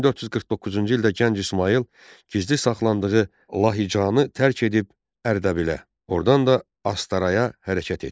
1449-cu ildə gənc İsmayıl gizli saxlandığı Lahicanı tərk edib Ərdəbilə, ordan da Astaraya hərəkət etdi.